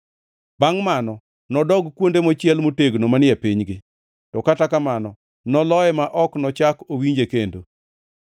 Bangʼ mano, nodog kuonde mochiel motegno manie pinygi, to kata kamano noloye ma ok nochak owinje kendo.